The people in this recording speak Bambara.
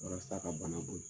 Warasa ka bana ban